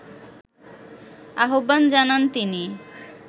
আহ্বান জানান তিনি